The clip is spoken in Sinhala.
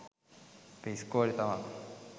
අපේ ඉස්කෝලේ තමා